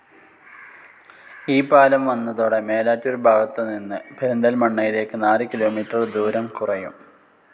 ഈ പാലം വന്നതോടെ മേലാറ്റൂർ ഭാഗത്തു നിന്ന് പെരിന്തല്മണ്ണയിലേക്കു നാല് കിലോമീറ്റർ ദൂരം കുറയും.